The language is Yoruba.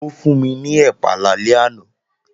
Ó fún mi ní ẹ̀pà lálẹ́ àná